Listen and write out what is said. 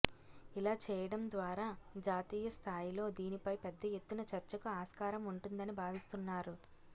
ఇలా చేయడం ద్వారా జాతీయ స్థాయిలో దీనిపై పెద్ద ఎత్తున చర్చకు ఆస్కారం ఉంటుందని భావిస్తున్నారు